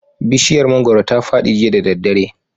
Bishiyar mangoro ta fadi jiya da daddare